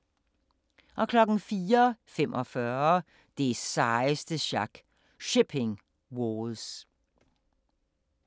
04:45: Det sejeste sjak – Shipping Wars